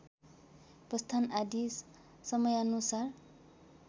प्रस्थान आदि समयानुसार